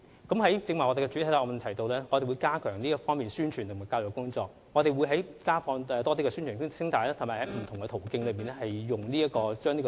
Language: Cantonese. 剛才我在主體答覆中提到，我們會加強這方面的宣傳及教育工作，不但會增加播放宣傳聲帶，亦會利用不同的途徑教育公眾。